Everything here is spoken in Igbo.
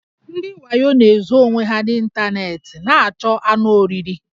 Ndị wayo na-ezo onwe ha n' ịntanetị na-achọ anụ oriri